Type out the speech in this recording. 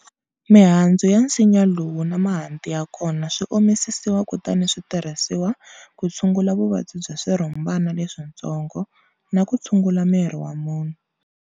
Mihandzu ya nsinya lowu na mahanti ya kona swi omisisiwa kutani swi tirhisiwa ku tshungula vuvabyi bya swirhumbana leswintsongo na ku tshungula miri wa munhu.